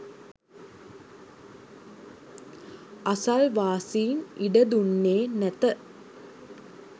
අසල්වාසීන් ඉඩ දුන්නේ නැත